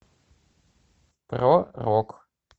про рок